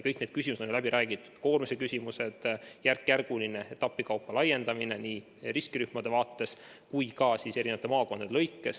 Kõik need küsimused on läbi räägitud: koormuse küsimused, järkjärguline laiendamine nii riskirühmade vaates kui ka maakondade lõikes.